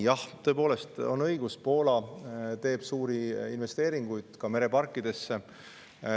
Jah, tõepoolest on õigus, et Poola teeb suuri investeeringuid ka mereparkidesse.